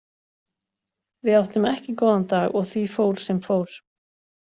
Við áttum ekki góðan dag og því fór sem fór.